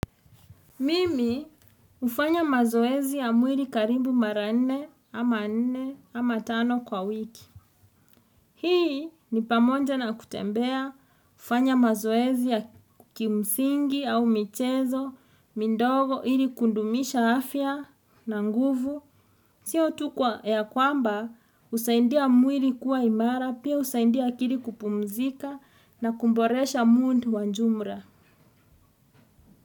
Mimi hufanya mazoezi ya mwili karibu mara nne ama nne ama tano kwa wiki. Hii ni pamoja na kutembea, kufanya mazoezi ya kimsingi au michezo, mindogo ili kudumisha afya na nguvu. Sio tu kwa ya kwamba husaindia mwili kuwa imara, pia husaindia akili kupumzika na kumboresha mood wa jumla.